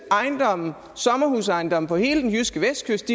sommerhusejendomme på hele den jyske vestkyst